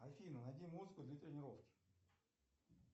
афина найди музыку для тренировки